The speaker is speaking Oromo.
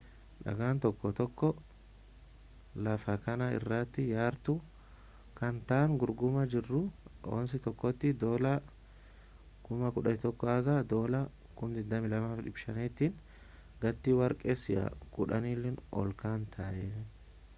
dhagaan tokko tokkoo laafa kana irratti yaartu kan ta’an gurguramaa jiru aawonsii tokkotti us$11,000 haga $22,500 tiin gati warqee si’a kuudhanii ol kan ta’een